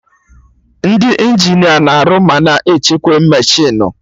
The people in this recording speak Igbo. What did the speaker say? Ndị Injinia na-arụ ma na-echekwa mechinu